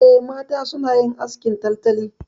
Eh, mata suna yin askin tantali.